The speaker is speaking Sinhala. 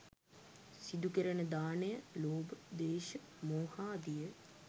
සිදුකෙරෙන දානය, ලෝභ, ද්වේශ, මෝහාදිය